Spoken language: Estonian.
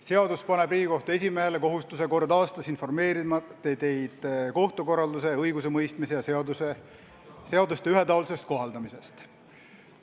Seadus paneb Riigikohtu esimehele kohustuse kord aastas informeerida teid kohtukorralduse, õigusemõistmise ja seaduste ühetaolisest kohaldamisest.